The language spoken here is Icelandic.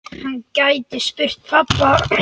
Hann gæti spurt pabba.